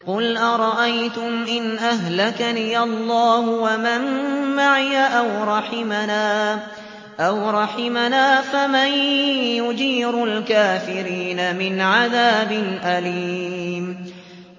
قُلْ أَرَأَيْتُمْ إِنْ أَهْلَكَنِيَ اللَّهُ وَمَن مَّعِيَ أَوْ رَحِمَنَا فَمَن يُجِيرُ الْكَافِرِينَ مِنْ عَذَابٍ أَلِيمٍ